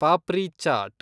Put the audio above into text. papri chat